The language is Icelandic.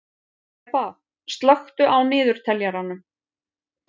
Heba, slökktu á niðurteljaranum.